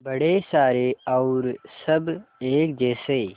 बड़े सारे और सब एक जैसे